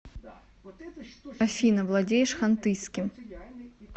афина владеешь хантыйским